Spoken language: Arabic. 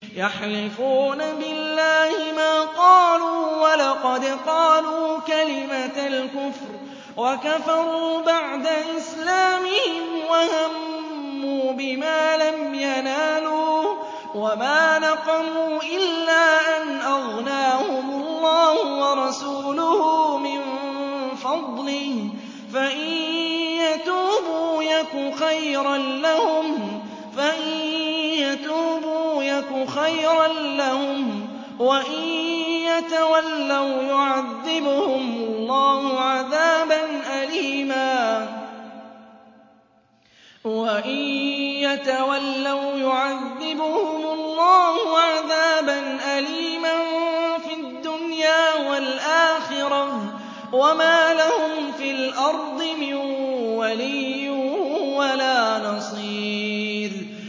يَحْلِفُونَ بِاللَّهِ مَا قَالُوا وَلَقَدْ قَالُوا كَلِمَةَ الْكُفْرِ وَكَفَرُوا بَعْدَ إِسْلَامِهِمْ وَهَمُّوا بِمَا لَمْ يَنَالُوا ۚ وَمَا نَقَمُوا إِلَّا أَنْ أَغْنَاهُمُ اللَّهُ وَرَسُولُهُ مِن فَضْلِهِ ۚ فَإِن يَتُوبُوا يَكُ خَيْرًا لَّهُمْ ۖ وَإِن يَتَوَلَّوْا يُعَذِّبْهُمُ اللَّهُ عَذَابًا أَلِيمًا فِي الدُّنْيَا وَالْآخِرَةِ ۚ وَمَا لَهُمْ فِي الْأَرْضِ مِن وَلِيٍّ وَلَا نَصِيرٍ